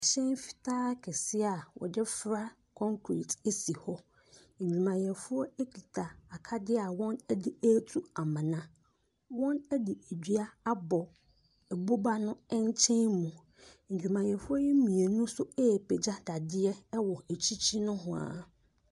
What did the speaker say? Hyɛn fitaa kɛseɛ a wɔde for a concrete si hɔ, adwumayɛfoɔ kita akadeɛ a wɔde ɛretu amona. Wɔde dua abɔ boba no ankyɛn mu. Ndwumayɛfoɔ ne mmienu nso ɛrepagya dadeɛ wɔ akyikyi nohoa.